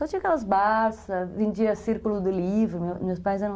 Só tinha aquelas barças, vendia círculo de livro, meus pais eram...